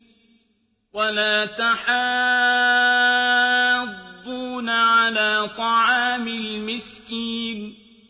وَلَا تَحَاضُّونَ عَلَىٰ طَعَامِ الْمِسْكِينِ